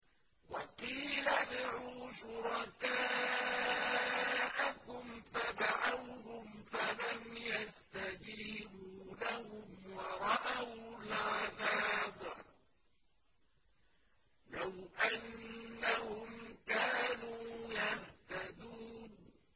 وَقِيلَ ادْعُوا شُرَكَاءَكُمْ فَدَعَوْهُمْ فَلَمْ يَسْتَجِيبُوا لَهُمْ وَرَأَوُا الْعَذَابَ ۚ لَوْ أَنَّهُمْ كَانُوا يَهْتَدُونَ